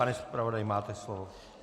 Pane zpravodaji, máte slovo.